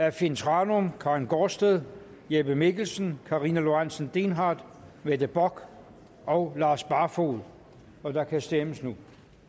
af finn thranum karin gaardsted jeppe mikkelsen karina lorentzen dehnhardt mette bock og lars barfoed og der kan stemmes nu